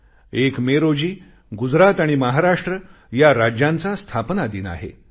1 May रोजी गुजरात आणि महाराष्ट्र या राज्यांचा स्थापना दिन आहे